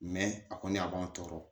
a kɔni a b'an tɔɔrɔ